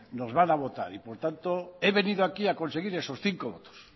nos van a votar y por tanto he venido aquí a conseguir esos cinco votos